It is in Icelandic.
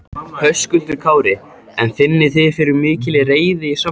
Höskuldur Kári: En finnið þið fyrir mikilli reiði í samfélaginu?